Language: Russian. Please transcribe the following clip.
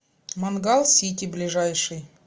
мангал сити ближайший